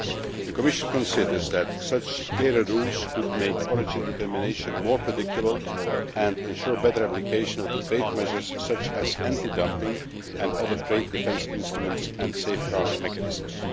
The Commission considers that such clearer rules could make origin determination more predictable and ensure better application of the trade measures such as anti dumping and other trade defence instruments and safeguard mechanisms.